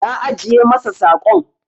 Na ajiye masa saƙon.